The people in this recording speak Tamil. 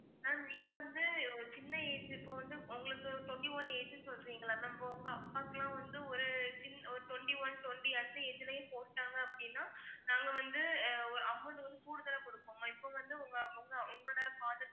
ma'am நீங்க வந்து ஒரு சின்ன age இப்ப வந்து உங்களுக்கு twenty one age சொல்றிங்க இல்லை ma'am இப்ப உங்க அப்பாக்கு எல்லாம் வந்து ஒரு சின்ன ஒரு twenty one twenty அடுத்து இதுலயும் போட்டாங்க அப்படின்னா நாங்க வந்து ஒரு amount வந்து கூடுதலா கொடுப்போம் இப்ப வந்து உங்க உங்களோட father